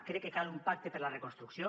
crec que cal un pacte per a la reconstrucció